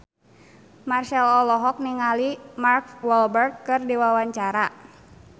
Marchell olohok ningali Mark Walberg keur diwawancara